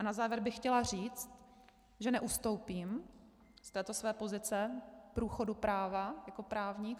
A na závěr bych chtěla říct, že neustoupím z této své pozice průchodu práva, jako právník.